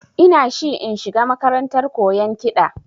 Ina shi in shiga makarantar koyan kiɗa